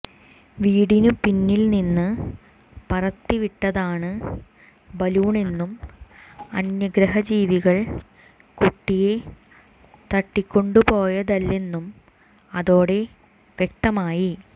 വീടിനു പിന്നിൽനിന്നു പറത്തിവിട്ടതാണ് ബലൂണെന്നും അന്യഗ്രഹജീവികൾ കുട്ടിയെ തട്ടിക്കൊണ്ടുപോയതല്ലെന്നും അതോടെ വ്യക്തമായി